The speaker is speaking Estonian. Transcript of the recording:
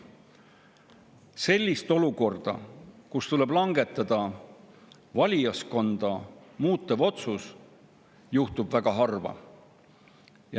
Sellist olukorda, kus tuleb langetada valijaskonda muutev otsus, tuleb ette väga harva.